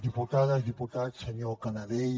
diputades diputats senyor canadell